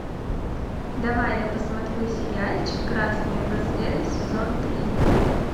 давай я посмотрю сериальчик красные браслеты сезон три